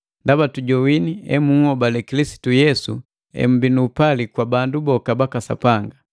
Ndaba tujowini emunhobale Kilisitu Yesu emmbii nu upali kwa bandu boka baka Sapanga.